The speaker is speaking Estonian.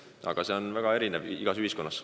Olukorrad on väga erinevad.